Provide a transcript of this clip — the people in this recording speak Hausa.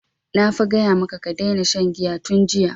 Na fa gaya maka ka daina shan giya tun jiya!